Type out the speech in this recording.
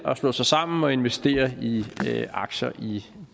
slå sig sammen og investere i aktier i